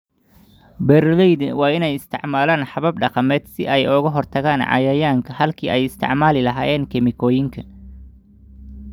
Beeraleydu waa inay isticmaalaan habab dhaqameed si ay uga hortagaan cayayaanka halkii ay isticmaali lahaayeen kiimikooyin.